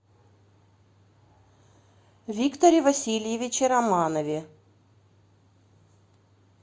викторе васильевиче романове